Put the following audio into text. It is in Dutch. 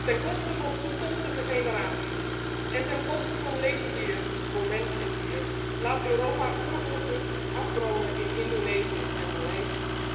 Ten koste van toekomstige generaties en ten koste van leefgebieden voor mens en dier laat Europa oerbossen afbranden in Indonesië en Maleisië.